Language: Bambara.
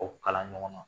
O kalan ɲɔgɔn na